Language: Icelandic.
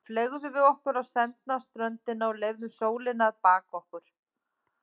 Þá fleygðum við okkur á sendna ströndina og leyfðum sólinni að baka okkur.